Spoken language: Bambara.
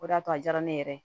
O de y'a to a jara ne yɛrɛ ye